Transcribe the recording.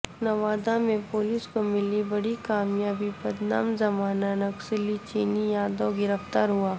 نوادہ میں پولیس کو ملی بڑی کامیابی بدنام زمانہ نکسلی چنی یادو گرفتار ہوا